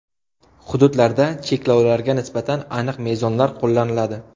Hududlarda cheklovlarga nisbatan aniq mezonlar qo‘llaniladi.